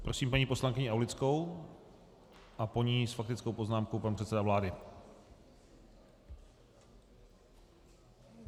Prosím paní poslankyni Aulickou a po ní s faktickou poznámkou pan předseda vlády.